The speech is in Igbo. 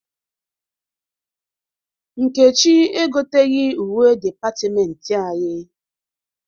Nkechi egoteghi uwe dịpatịmentị anyị.